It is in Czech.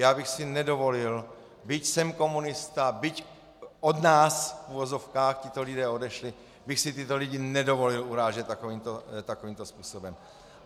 Já bych si nedovolil, byť jsem komunista, byť od nás, v uvozovkách, tito lidé odešli, bych si tyto lidi nedovolil urážet takovýmto způsobem.